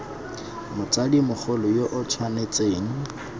motsadi mogolo yo o tshwanetseng